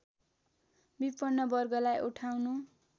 विपन्न वर्गलाई उठाउनु